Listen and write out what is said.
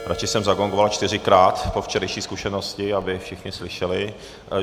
Radši jsem zagongoval čtyřikrát po včerejší zkušenosti, aby všichni slyšeli.